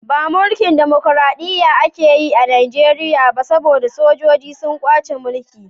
Ba mulkin damakoraɗiya ake yi a Niger ba, saboda sojoji sun kwace mulki.